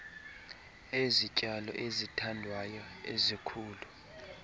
ezityalo ezithandwayo ezikhula